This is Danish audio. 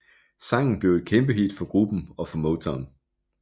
Sangen blev et kæmpehit for gruppen og for Motown